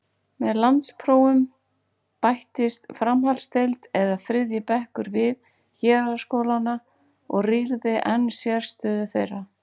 Með landsprófum bættist framhaldsdeild eða þriðji bekkur við héraðsskólana og rýrði enn sérstöðu þeirra.